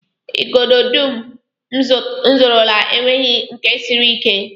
Igodo dum m zụrụla enweghị nke siri ike